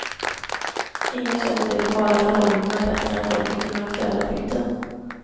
Ingen känner de lokala förhållandena bättre än folket i den aktuella bygden.